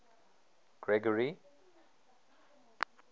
gregory